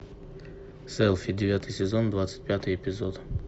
селфи девятый сезон двадцать пятый эпизод